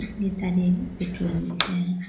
इसमें सारे पेट्रोल मिलते हैं।